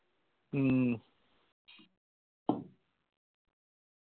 മ്മ്